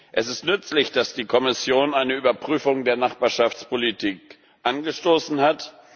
Es ist nützlich, dass die Kommission eine Überprüfung der Nachbarschaftspolitik angestoßen hat.